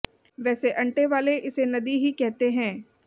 वैसे अन्टे वाले इसे नदी ही कहते हैं